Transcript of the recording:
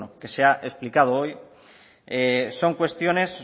que se ha explicado hoy son cuestiones